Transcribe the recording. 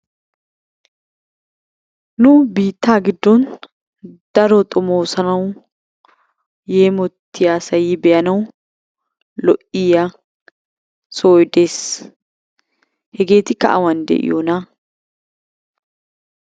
Nu biittaa giddon daro xomoosanawu yeemottiyasay, be'anawu lo'iya sohoy de'ees. Hegeetikka awan de'iyonaa?